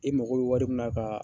E mako bɛ wari min na ka